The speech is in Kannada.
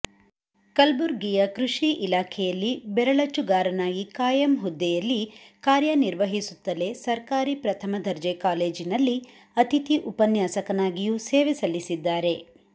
ಕಲಬುರ್ಗಿಯ ಕೃಷಿ ಇಲಾಖೆಯಲ್ಲಿ ಬೆರಳಚ್ಚುಗಾರನಾಗಿ ಕಾಯಂ ಹುದ್ದೆಯಲ್ಲಿ ಕಾರ್ಯನಿರ್ವಹಿಸುತ್ತಲೇ ಸರ್ಕಾರಿ ಪ್ರಥಮ ದರ್ಜೆ ಕಾಲೇಜಿನಲ್ಲಿ ಅತಿಥಿ ಉಪನ್ಯಾಸಕನಾಗಿಯೂ ಸೇವೆ ಸಲ್ಲಿಸಿದ್ದಾರೆ